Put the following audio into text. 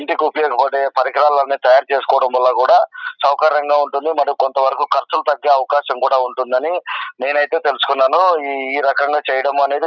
ఇంటికి ఉపయోగపడే పరికరాలన్నీ తయారు చేసుకోవడం వల్ల కూడా సౌకర్యంగా ఉంటుంది. మరియు కొంత వరకు ఖర్చులు తగ్గే అవకాశం కూడా ఉంటుందని నేనైతే తెలుసుకున్నాను. ఈ ఈ రకంగా చెయ్యడం అనేది--